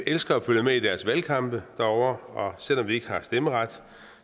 elsker at følge med i deres valgkampe derovre og selv om vi ikke har stemmeret